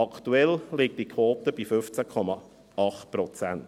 Aktuell liegt die Quote bei 15,8 Prozent.